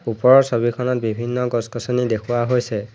ওপৰৰ ছবিখনত বিভিন্ন গছ-গছনি দেখুওৱা হৈছে।